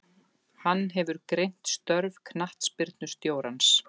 Hann hefur greint störf knattspyrnustjórans.